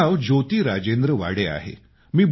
माझं नाव ज्योती राजेंद्र वाडे आहे